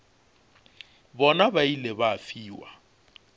bona ba ile ba fiwa